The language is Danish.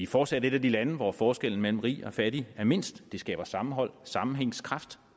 fortsat et af de lande hvor forskellen mellem rig og fattig er mindst det skaber sammenhold sammenhængskraft